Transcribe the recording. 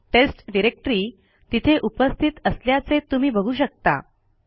taste directory तिथे उपस्थित असल्याचे तुम्ही बघू शकता